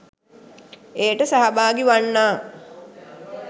එයට සහභාගී වන්නා